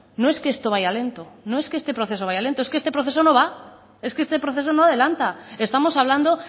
no es que esto vaya lento no es que este proceso vaya lento es que este proceso no va es que este proceso no adelanta estamos hablando